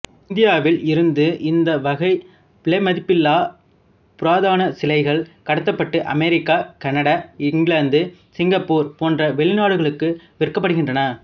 இந்தியாவில் இருந்து இந்த வகை விலைமதிப்பில்லா புராதனச் சிலைகள் கடத்தப்பட்டு அமெரிக்கா கனடா இங்கிலாந்து சிங்கப்பூர் போன்ற வெளிநாடுகளுக்கு விற்கப்படுகின்றன